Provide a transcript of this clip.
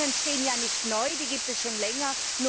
Die Kosten entstehen ja nicht neu, die gibt es schon länger.